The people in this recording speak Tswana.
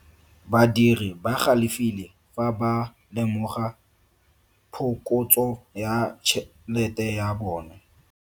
Badiri ba galefile fa ba lemoga phokotso ya tšhelete ya bone.